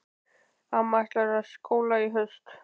Amma ætlar í skóla í haust.